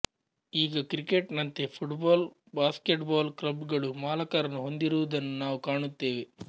ಈಗ ಕ್ರಿಕೆಟ್ ನಂತೆ football basketball club ಗಳು ಮಾಲಕರನ್ನು ಹೊಂದಿರುವುದನ್ನು ನಾವು ಕಾಣುತ್ತೇವೆ